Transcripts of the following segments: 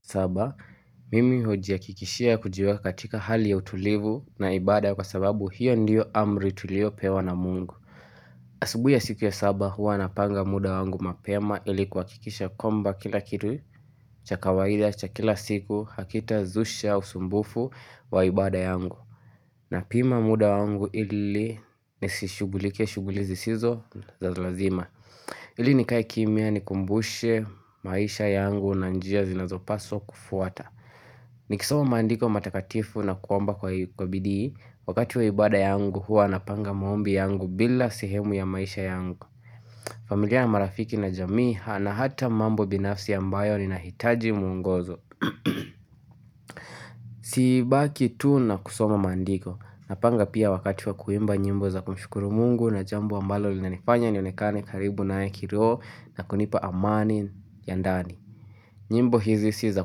Saba, mimi hujiakikishia kujiwekatika hali ya utulivu na ibada kwa sababu hio ndio amri tulio pewa na Mungu. Asubui ya siku ya saba hua napanga muda wangu mapema ili kuhakikisha kwamba kila kitu cha kawaida cha kila siku hakitazusha usumbufu wa ibada yangu. Napima muda wangu ili nisishughulikie shughuli zisizo za lazima. Ili nikae kimya nikumbushe maisha yangu na njia zinazopaswa kufuata. Nikisoma maandiko matakatifu na kuomba kwa bidii, wakati wa ibada yangu hua napanga maombi yangu bila sehemu ya maisha yangu familia na marafiki na jamii ha na hata mambo binafsi ambayo ninahitaji mwongozo Sibaki tu na kusoma maandiko, napanga pia wakati wa kuimba nyimbo za kumshukuru Mungu na jambo ambalo linanifanya nionekane karibu naye kiroo na kunipa amani ya ndani nyimbo hizi si za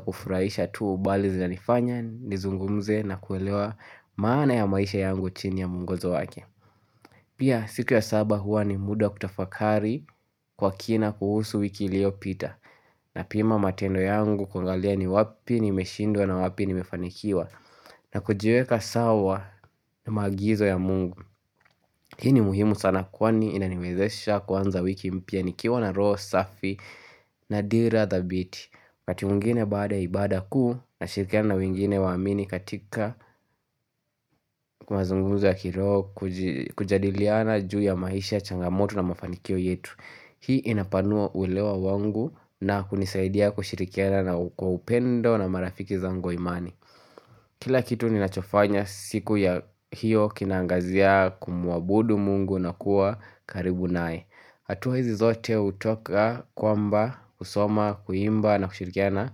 kufurahisha tuu bali zina nifanya nizungumze na kuelewa maana ya maisha yangu chini ya mungozo wake Pia siku ya saba hua ni muda kutafakari kwa kina kuhusu wiki iliopita napima matendo yangu kuangalia ni wapi nimeshindwa na wapi ni mefanikiwa na kujiweka sawa ni maagizo ya Mungu Hii ni muhimu sana kwani inaniwezesha kuanza wiki mpya nikiwa na roo safi na dira thabiti kati mungine baada ibada kuu nashirikiana na wengine waamini katika kumazungunzo ya kiroo kuji kujadiliana juu ya maisha changamoto na mafanikio yetu Hii inapanua uelewa wangu na hunisaidia kushirikiana na kwa upendo na marafiki zangu wa imani Kila kitu ninachofanya siku ya hiyo kinaangazia kumuabudu Mungu na kuwa karibu nae hatua hizi zote hutoka kwamba, kusoma, kuimba na kushirikiana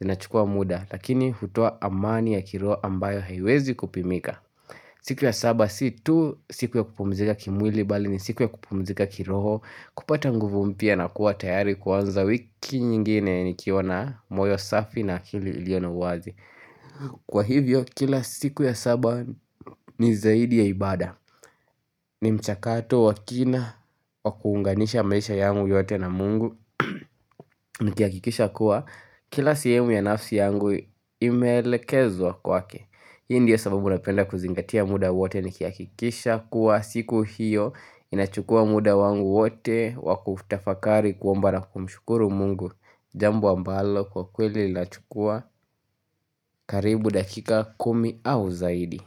zinachukua muda Lakini hutoa amani ya kiroho ambayo haiwezi kupimika siku ya saba si tu siku ya kupumzika kimwili bali ni siku ya kupumzika kiroho kupata nguvu mpya na kua tayari kuanza wiki nyingine nikiwa na moyo safi na akili iliona uwazi Kwa hivyo kila siku ya saba ni zaidi ya ibada ni mchakato wakina wakuunganisha maisha yangu yote na Mungu Nikiakikisha kua kila sehemu ya nafsi yangu imeelekezwa kwake Hii ndio sababu napenda kuzingatia muda wote nikiakikisha kuwa siku hiyo inachukua muda wangu wote wakufutafakari kuomba na kumshukuru Mungu Jambo ambalo kwa kweli inachukua karibu dakika kumi au zaidi.